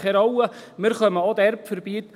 Wir kommen auch dort vorbei.»